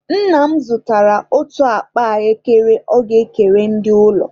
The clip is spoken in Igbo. Nna m zụtara otu akpa ahụekere ọ ga-ekere ndị ụlọ.